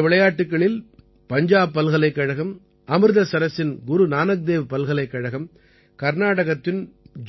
இந்த விளையாட்டுக்களில் பஞ்சாப் பல்கலைக்கழகம் அமிர்தசரசின் குரு நானக்தேவ் பல்கலைக்கழகம் கர்நாடகத்தின்